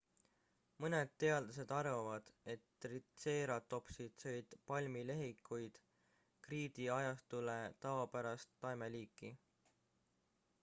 mõned teadlased arvavad et tritseeratopsid sõid palmlehikuid kriidiajastule tavapärast taimeliiki